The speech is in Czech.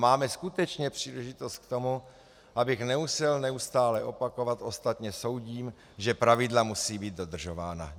Máme skutečně příležitost k tomu, abych nemusel neustále opakovat - ostatně soudím, že pravidla musí být dodržována.